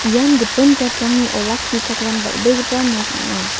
ian gipin jatrangni olakkichakram dal·begipa nok ong·a.